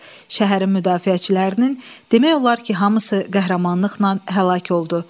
Şəhərin müdafiəçilərinin demək olar ki, hamısı qəhrəmanlıqla həlak oldu.